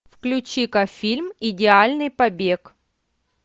включи ка фильм идеальный побег